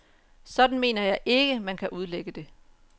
Sådan mener jeg ikke, at man kan udlægge det.